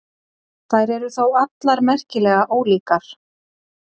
Þær eru þó allar merkilega ólíkar.